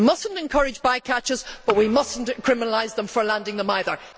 We must not encourage by catches, but we must not criminalise fishermen for landing them either.